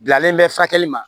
Bilalen bɛ furakɛli ma